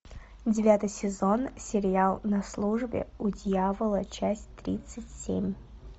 девятый сезон сериал на службе у дьявола часть тридцать семь